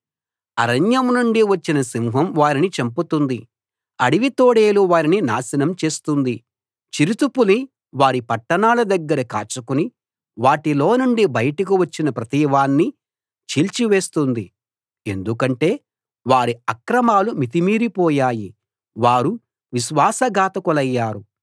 అరణ్యం నుండి వచ్చిన సింహం వారిని చంపుతుంది అడవి తోడేలు వారిని నాశనం చేస్తుంది చిరుతపులి వారి పట్టణాల దగ్గర కాచుకుని వాటిలోనుండి బయటకు వచ్చిన ప్రతివాణ్ణీ చీల్చివేస్తుంది ఎందుకంటే వారి అక్రమాలు మితిమీరిపోయాయి వారు విశ్వాసఘాతకులయ్యారు